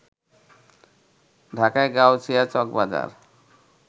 ঢাকার গাউছিয়া, চকবাজার